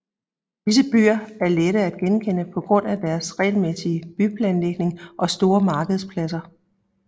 Disse byer er lette at genkende på grund af deres regelmæssige byplanlægning og store markedspladser